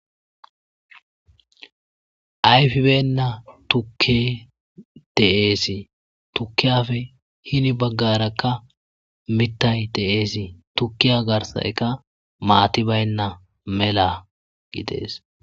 Ayfibeyna likey de'es tukiyapeka heni bagara mithay de'es tukiya garsayka maatay bayna mela gidees.